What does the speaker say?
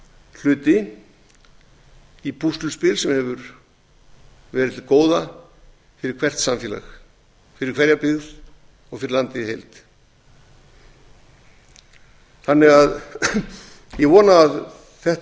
hluti í púsluspili sem hefur verið til góða fyrir hvert samfélag fyrir hverja byggð og fyrir landið í heild ég vona að þetta